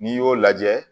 N'i y'o lajɛ